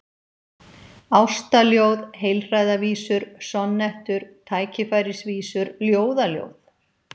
Ástaljóð, heilræðavísur, sonnettur, tækifærisvísur, ljóðaljóð?